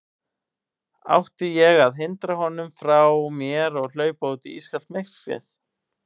Átti ég að hrinda honum frá mér og hlaupa út í ískalt myrkrið?